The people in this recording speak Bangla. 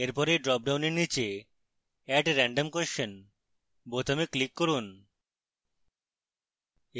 এরপর এই ড্রপডাউনের নীচে add random question বোতামে click করুন